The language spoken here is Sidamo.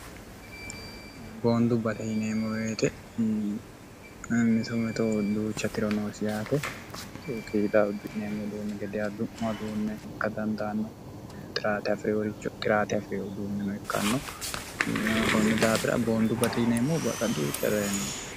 boondu bate yineemmoweete misometo udduucha tiro noosi yaate mituhu qiida uddu'eemmo duunni gede addu'moduunne ikka dandaanno xiraate afi'riworicho qiraate afiri uduunmino ikkanno kunni daafira boondu baxe yineemmo baqa duucha rayi noosi